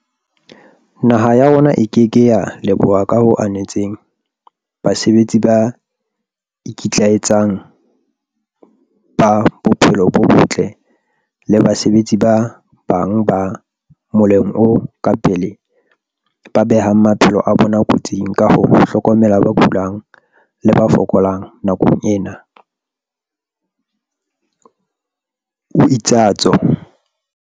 "Naha ya rona e ke ke ya leboha ka ho anetseng basebetsi ba ikitlaetsang ba bophelo bo botle le basebetsi ba bang ba moleng o ka pele ba behang maphelo a bona kotsing ka ho hlokomela ba kulang le ba fokolang nakong ena," o itsatso.